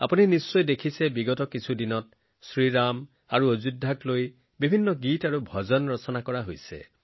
আপোনালোকে নিশ্চয় দেখিছে যে যোৱা কেইদিনমানৰ পৰা শ্ৰীৰাম আৰু অযোধ্যাক কেন্দ্ৰ কৰি বিভিন্ন গীত আৰু ভজন ৰচনা কৰা হৈছে